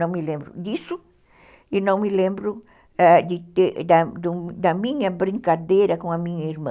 Não me lembro disso e não me lembro, é, da minha brincadeira com a minha irmã.